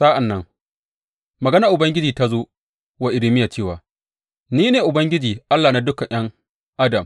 Sa’an nan maganar Ubangiji ta zo wa Irmiya cewa, Ni ne Ubangiji Allah na dukan ’yan adam.